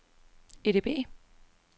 EDB